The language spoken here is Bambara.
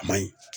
A ma ɲi